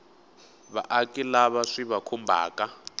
vaaki lava swi va khumbhaka